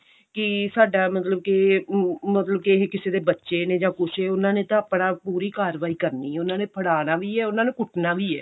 ਕਿ ਸਾਡਾ ਮਤਲਬ ਕਿ ਮਤਲਬ ਕਿ ਇਹ ਕਿਸੇ ਦੇ ਬੱਚੇ ਨੇ ਜਾਂ ਕੁੱਝ ਉਹਨਾ ਨੇ ਤਾਂ ਆਪਣਾ ਪੂਰੀ ਕਾਰਵਾਈ ਕਰਨੀ ਏ ਤੇ ਫੜਾਨਾ ਵੀ ਏ ਤੇ ਉਹਨਾ ਨੇ ਕੁੱਟਣਾ ਵੀ ਏ